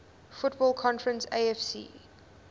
football conference afc